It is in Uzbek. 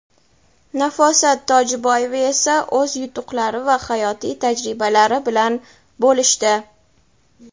Nafosat Tojiboyeva esa o‘z yutuqlari va hayotiy tajribalari bilan bo‘lishdi.